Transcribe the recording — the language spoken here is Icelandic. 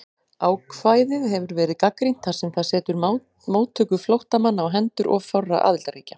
Ákvæðið hefur verið gagnrýnt þar sem það setur móttöku flóttamanna á hendur of fárra aðildarríkja.